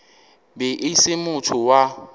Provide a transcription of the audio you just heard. be e se motho wa